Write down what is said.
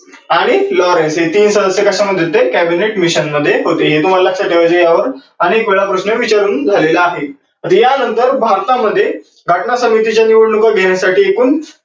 आणि Lawrence हे तीन सदस्य कशामध्ये होते cabinet mission मध्ये होते. हे तुम्हाला लक्षात ठेवायचं आहे या वर अनेक वेळा प्रश्न विचारून झालेला आहे. तर या नंतर भारता मध्ये घटना समितीच्या निवडणुका घेन्यासाठी एकूण